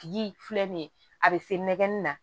Tigi filɛ nin ye a bɛ se nɛgɛnni na